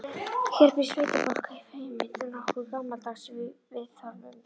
Hér býr sveitafólk, feimið og nokkuð gamaldags í viðhorfum.